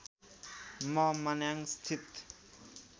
म मनाङस्थित